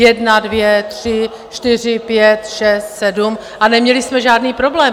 Jedna, dvě, tři, čtyři, pět, šest, sedm - a neměli jsme žádný problém.